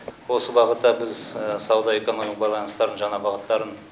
осы бағытта біз сауда экономикалық байланыстардың жаңа бағыттарын